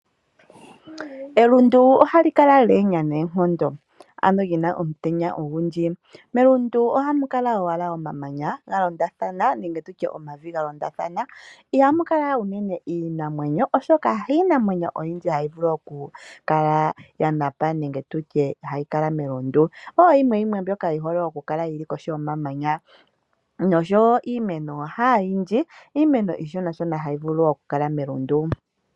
Elundu ohali kala la enya noonkondo, ano lina omutenya ongundji melundu ohamu kala owala omamanya ga londathana nenge tutye omavi ga londathana, Ihamu kala unene iinamwenyo osho ka hiinamwenyo oyindji hayi vulu oku kala yanapa nenge tutye hayikala melundu ,oyimwe yimwe mbyoka yihole oku kala kohi yomamanya noshowo iimeno hayindji, iimeno ishona shona hayi vulu oku kala melundu.